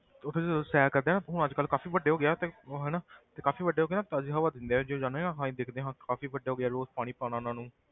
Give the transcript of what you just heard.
ਤੇ ਉੱਥੇ ਜਦੋਂ ਸੈਰ ਕਰਦੇ ਆ ਨਾ ਹੁਣ ਅੱਜ ਕੱਲ੍ਹ ਕਾਫ਼ੀ ਵੱਡੇ ਹੋ ਗਏ ਆ ਤੇ ਹਨਾ ਤੇ ਕਾਫ਼ੀ ਵੱਡੇ ਹੋ ਕੇ ਨਾ ਤਾਜ਼ੀ ਹਵਾ ਦਿੰਦੇ ਆ ਜਦੋਂ ਜਾਂਦੇ ਹਾਂ ਨਾ ਅਸੀਂ ਦੇਖਦੇ ਹਾਂ ਕਾਫ਼ੀ ਵੱਡੇ ਹੋ ਗਏ ਆ ਰੋਜ਼ ਪਾਣੀ ਪਾਉਣਾ ਉਹਨਾਂ ਨੂੰ,